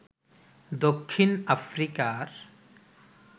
দক্ষিণ আফ্রিকার